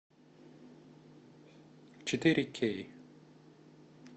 четыре кей